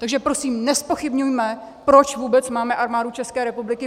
Takže prosím nezpochybňujme, proč vůbec máme Armádu České republiky.